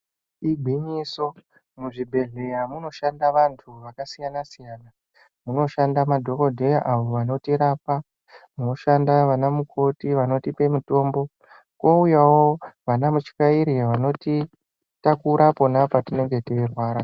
Igwinyiso muzvibhedhleya munoshanda vantu vakasiyana-siyana, munoshanda madhogodheya avo vanotirapa. Moshanda vanamukoti avo vanotipe mutombo kouyavo vana mutyairi vanotitakura pona patinenge teirwara.